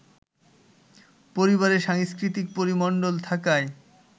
পরিবারে সাংস্কৃতিক পরিমন্ডল থাকায়